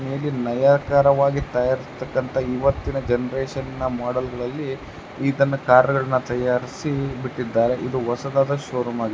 ಮೇಲಿನ್ ನಯಕರವಾಗಿ ತಯಾರಿಸ್ತಕಂತ ಇವತ್ತಿನ ಜೆಂರೇಷನ್ ನ ಮಾಡೆಲ್ ಗಳಲ್ಲಿ ಇದನ್ನ ಕಾರಗಳನ್ನ ತಯಾರಿಸಿ ಬಿಟ್ಟಿದ್ದಾರೆ ಇದು ಹೊಸದಾದ ಶೋರೂಮ್ ಆಗಿದೆ.